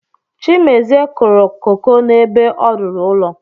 Chimezie kụrụ koko n’ebe ọ rụrụ ụlọ